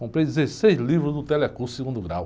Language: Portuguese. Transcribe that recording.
Comprei dezesseis livros do Telecurso Segundo Grau.